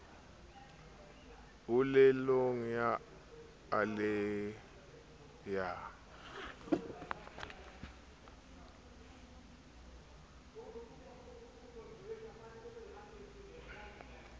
polelong ya a le ya